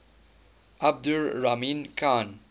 abdur rahman khan